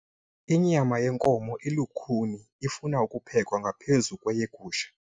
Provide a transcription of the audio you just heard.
Inyama yenkomo ilukhuni ifuna ukuphekwa ngaphezu kweyegusha.